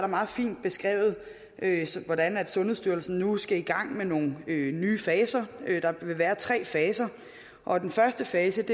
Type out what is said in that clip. meget fint beskrevet hvordan sundhedsstyrelsen nu skal i gang med nogle nye faser der vil være tre faser og den første fase